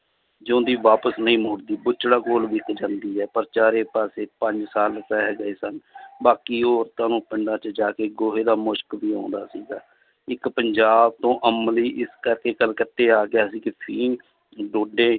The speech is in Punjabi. ਜਿਉਂਦੀ ਵਾਪਸ ਨਹੀਂ ਮੁੜਦੀ ਜਾਂਦੀ ਹੈ ਪਰ ਚਾਰੇ ਪਾਸੇ ਪੰਜ ਸਾਲ ਰਹਿ ਗਏ ਸਨ ਬਾਕੀ ਉਹ ਤੁਹਾਨੂੰ ਪਿੰਡਾਂ 'ਚ ਜਾ ਕੇ ਗੋਹੇ ਦਾ ਮੁਸ਼ਕ ਵੀ ਆਉਂਦਾ ਸੀਗਾ, ਇੱਕ ਪੰਜਾਬ ਤੋਂ ਅਮਲੀ ਇਸ ਕਰਕੇ ਕਲਕੱਤੇ ਆ ਗਿਆ ਸੀ ਕਿ ਫ਼ੀਮ, ਡੋਡੇ